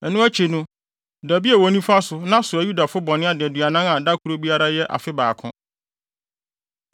“Ɛno akyi no, da bio wɔ wo nifa so na soa Yudafo bɔne adaduanan a da koro biara bɛyɛ afe baako.